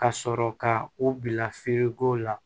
Ka sɔrɔ ka u bila la